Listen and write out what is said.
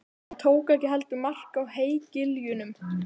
Hann tók ekki heldur mark á hégiljunum.